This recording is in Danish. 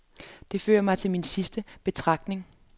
Dette fører mig til min sidste betragtning.